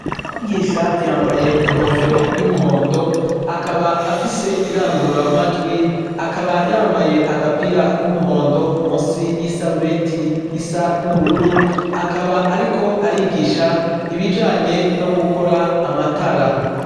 Umwigisha yambaye inkofero y'umuhondo, akaba afise irangurura majwi akaba yambaye agapira k'umuhondo musi y'isarubeti isa n'ubururu, akaba Ariko arigisha ibijanye no gukora amatara.